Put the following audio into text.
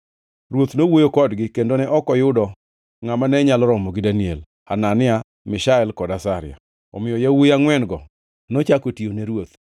Ruoth nowuoyo kodgi, kendo ne ok oyudo ngʼama ne nyalo romo gi Daniel, Hanania, Mishael kod Azaria, omiyo yawuowi angʼwen-go nochako tiyo ne ruoth.